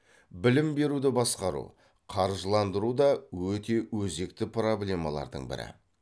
білім беруді басқару қаржыландыру да өте өзекті проблемалардың бірі